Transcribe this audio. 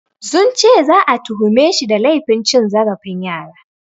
Sun ce za'a tuhumeshi da laifin cin zarafin yara.